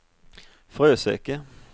Fröseke